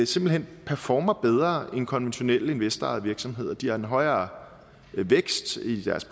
simpelt hen performer bedre end konventionelle investorejede virksomheder de har en højere vækst i deres